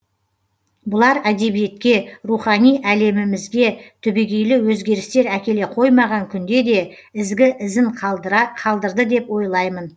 бұлар әдебиетке рухани әлемімізге түбегейлі өзгерістер әкеле қоймаған күнде де ізгі ізін қалдырды деп ойлаймын